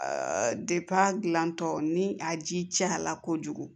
gilantɔ ni a ji cayara kojugu